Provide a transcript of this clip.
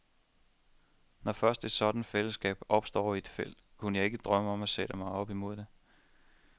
Når først et sådant fællesskab opstår i et felt, kunne jeg ikke drømme om at sætte mig op mod det.